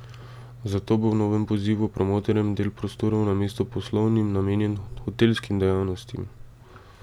Zato bo v novem pozivu promotorjem del prostorov namesto poslovnim namenjen hotelskim dejavnostim.